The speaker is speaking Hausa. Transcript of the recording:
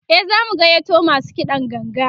e zamu gayyato masu kiɗan ganga